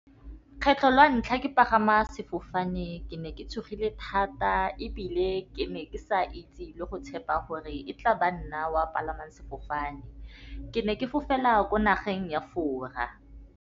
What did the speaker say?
Kgetlho la ntlha ke pagama sefofane. Ke ne ke tshogile thata ebile ke ne ke sa itse le go tshepa gore e tlaba nna wa palamang sefofane. Ke ne ke fofela ko nageng ya Fora.